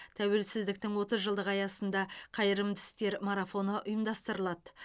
тәуелсіздіктің отыз жылдығы аясында қайырымды істер марафоны ұйымдастырылады